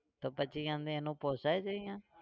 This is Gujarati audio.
તો પછી એમને એનો પોસાય છે અહીંયા?